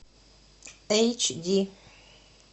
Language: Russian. эйч ди